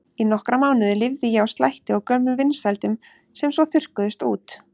Í nokkra mánuði lifði ég á slætti og gömlum vinsældum sem svo þurrkuðust út.